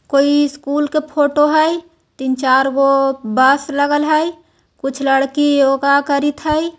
कोई स्कुल के फोटो हाई तीन चारगो बस लगल है कुछ लड़की योगा करित हाई।